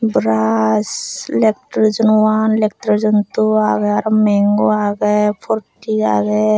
toraj leftrojono one leftrojon two agey arw mango agey porti agey.